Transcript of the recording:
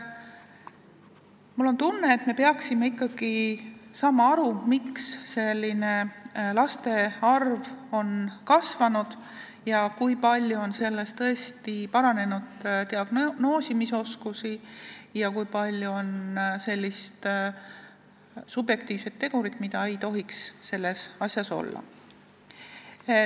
Mul on tunne, et me peaksime ikkagi aru saama, miks see arv on kasvanud ja kui palju on selle põhjuseks tõesti paranenud diagnoosimisoskus ning kui palju on seal sellist subjektiivset tegurit, mida ei tohiks olla.